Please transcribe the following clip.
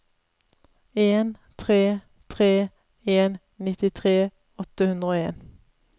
en tre tre en nittitre åtte hundre og en